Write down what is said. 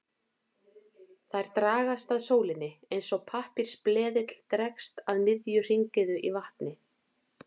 Þær dragast að sólinni eins og pappírsbleðill dregst að miðju hringiðu í vatni.